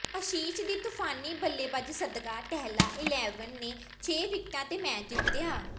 ਅਸ਼ੀਸ਼ ਦੀ ਤੂਫਾਨੀ ਬੱਲੇਬਾਜ਼ੀ ਸਦਕਾ ਟਹਿਲਾ ਇਲੈਵਨ ਨੇ ਛੇ ਵਿਕਟਾਂ ਤੇ ਮੈਚ ਜਿੱਤਿਆ